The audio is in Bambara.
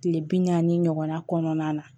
Kile bi naani ɲɔgɔnna kɔnɔna na